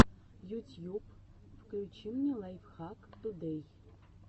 ютьюб включи мне лайфхак тудэй